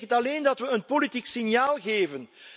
Het betekent alleen dat we een politiek signaal geven.